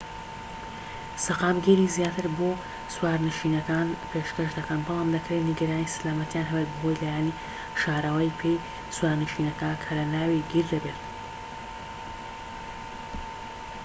سەقامگیریی زیاتر بۆ سوارنشینەکە پێشکەش دەکەن بەڵام دەکرێت نیگەرانی سەلامەتیان هەبێت بەهۆی لایەنی شاراوەی پێی سوارنشینەکە کە لە ناوی گیر دەبێت